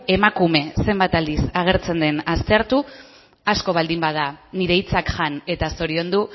emakume zenbat aldiz agertzen den aztertu asko baldin bada nire hitzak jan eta zoriondu